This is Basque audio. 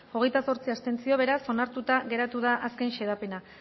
hogeita zortzi abstentzio beraz onartuta geratu da azken xedapena